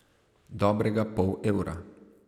Dobrega pol evra.